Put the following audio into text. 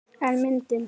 En myndin.